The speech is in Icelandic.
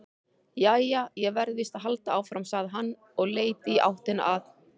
Jæja, ég verð víst að halda áfram, sagði hann og leit í áttina að